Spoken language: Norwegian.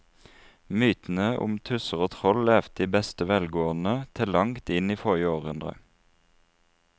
Mytene om tusser og troll levde i beste velgående til langt inn i forrige århundre.